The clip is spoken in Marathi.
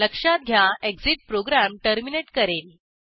लक्षात घ्या एक्सिट प्रोग्रॅम टर्मिनेट करेल